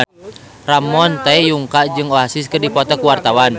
Ramon T. Yungka jeung Oasis keur dipoto ku wartawan